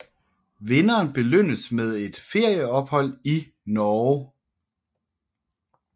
Vinderen belønnes med et ferieophold i Norge